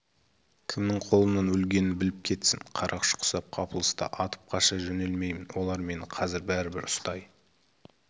кімнің қолынан өлгенін біліп кетсін қарақшы құсап қапылыста атып қаша жөнелмеймін олар мені қазір бәрібір ұстай